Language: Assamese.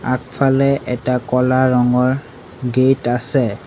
আগফালে এটা ক'লা ৰঙৰ গেট আছে।